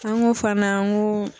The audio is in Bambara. An ko fana an ko